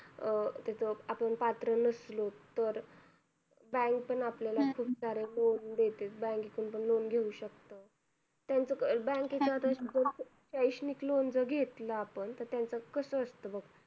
अं तिथं आपण पात्र नसलो तर bank पण आपल्याला खूप सारे loan देते bank कडून पण loan घेऊ शकतो त्यांचं bank शैक्षणिक loan जर घेतलं आपण तर त्यांचं कस असत बघ